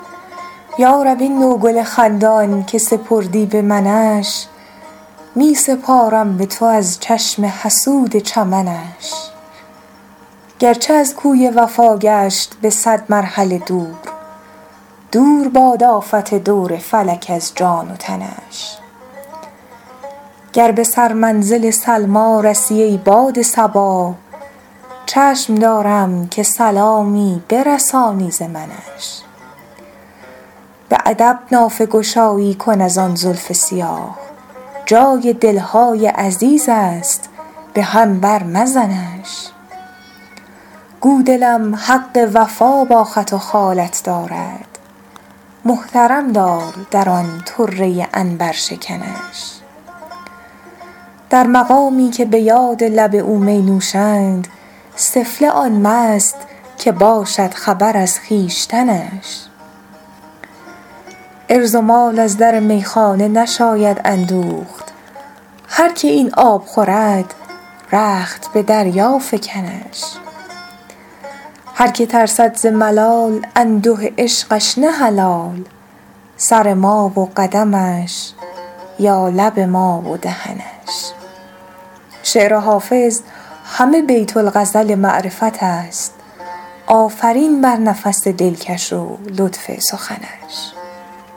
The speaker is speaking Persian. یا رب این نوگل خندان که سپردی به منش می سپارم به تو از چشم حسود چمنش گرچه از کوی وفا گشت به صد مرحله دور دور باد آفت دور فلک از جان و تنش گر به سرمنزل سلمی رسی ای باد صبا چشم دارم که سلامی برسانی ز منش به ادب نافه گشایی کن از آن زلف سیاه جای دل های عزیز است به هم بر مزنش گو دلم حق وفا با خط و خالت دارد محترم دار در آن طره عنبرشکنش در مقامی که به یاد لب او می نوشند سفله آن مست که باشد خبر از خویشتنش عرض و مال از در میخانه نشاید اندوخت هر که این آب خورد رخت به دریا فکنش هر که ترسد ز ملال انده عشقش نه حلال سر ما و قدمش یا لب ما و دهنش شعر حافظ همه بیت الغزل معرفت است آفرین بر نفس دلکش و لطف سخنش